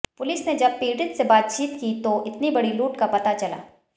police ने जब पीडि़त से बातचीत की तो इतनी बड़ी लूट का पता चला